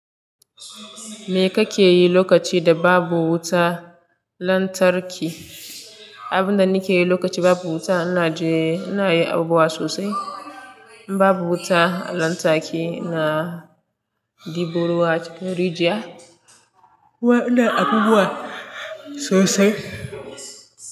Me kake yi lokaci da babu wuta lantarki? Abin da nake yi lokaci babu wuta ina je ina yi abubuwa sosai. In babu wuta lantarki ina ɗiboruwa acikin rijiya. Ina abubuwa sosai.